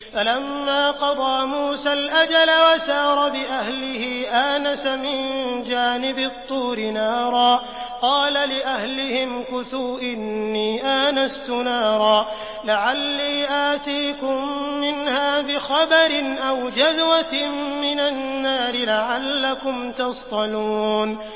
۞ فَلَمَّا قَضَىٰ مُوسَى الْأَجَلَ وَسَارَ بِأَهْلِهِ آنَسَ مِن جَانِبِ الطُّورِ نَارًا قَالَ لِأَهْلِهِ امْكُثُوا إِنِّي آنَسْتُ نَارًا لَّعَلِّي آتِيكُم مِّنْهَا بِخَبَرٍ أَوْ جَذْوَةٍ مِّنَ النَّارِ لَعَلَّكُمْ تَصْطَلُونَ